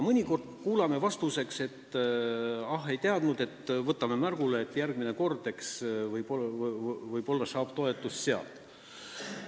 Mõnikord kuuleme vastuseks, et ah, ei teadnud, järgmine kord võib-olla saab toetust sealt.